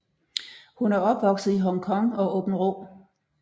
Hun er opvokset i Hong Kong og Aabenraa